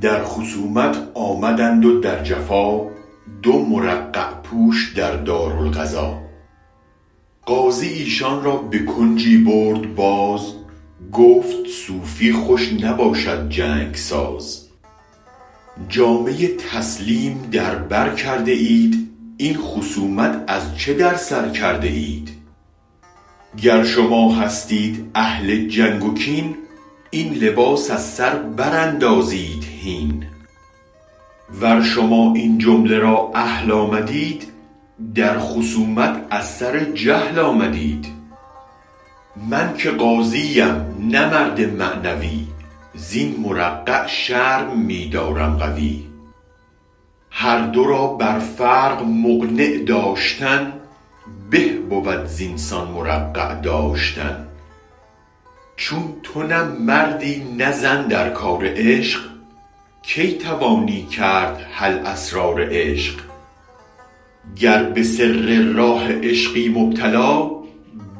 در خصومت آمدند و در جفا دو مرقع پوش در دار القضا قاضی ایشان را به کنجی برد باز گفت صوفی خوش نباشد جنگ ساز جامه تسلیم در بر کرده اید این خصومت از چه در سر کرده اید گر شما هستید اهل جنگ و کین این لباس از سر براندازید هین ور شما این جامه را اهل آمدید در خصومت از سر جهل آمدید من که قاضی ام نه مرد معنوی زین مرقع شرم می دارم قوی هر دو را بر فرق مقنع داشتن به بود زین سان مرقع داشتن چون تو نه مردی نه زن در کار عشق کی توانی کرد حل اسرار عشق گر به سر راه عشقی مبتلا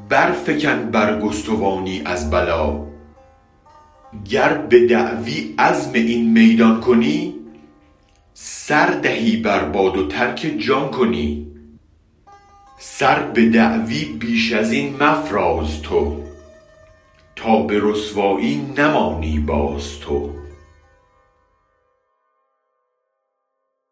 برفکن برگستوانی از بلا گر بدعوی عزم این میدان کنی سر دهی بر باد و ترک جان کنی سر به دعوی بیش ازین مفراز تو تا به رسوایی نمانی باز تو